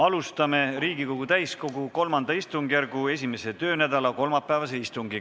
Alustame Riigikogu täiskogu III istungjärgu 1. töönädala kolmapäevast istungit.